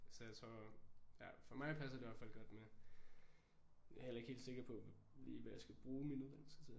Så jeg tror ja for mig passer det i hvert fald godt med jeg er heller ikke helt sikker på lige hvad jeg skal bruge min uddannelse til